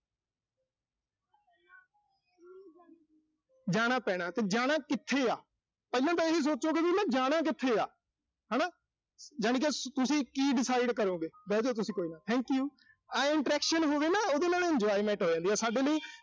ਜਾਣਾ ਪੈਣਾ ਤੇ ਜਾਣਾ ਕਿੱਥੇ ਆ। ਪਹਿਲਾਂ ਤਾਂ ਇਹੀ ਸੋਚੋਗੇ ਨਾ ਕਿ ਜਾਣਾ ਕਿੱਥੇ ਆ। ਹਨਾ, ਜਾਣੀਂ ਕਿ ਤੁਸੀਂ ਕੀ decide ਕਰੋਂਗੇ। ਬਹਿਜੋ ਤੁਸੀਂ ਕੋਈ ਨੀਂ thank you ਆਏਂ interaction ਹੋਵੇ ਨਾ, ਉਹਦੇ ਨਾਲ enjoyment ਹੋ ਜਾਂਦੀ ਆ, ਸਾਡੇ ਲਈ